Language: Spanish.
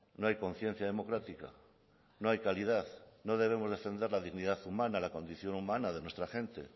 no hay conciencia democrática no hay calidad no debemos defender la dignidad humana la condición humana de nuestra gente